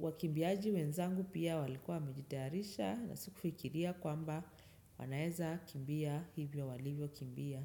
wakimbiaji wenzangu pia walikuwa wamejitayarisha na sikufikiria kwamba wanaweza kukimbia hivyo walivyokimbia.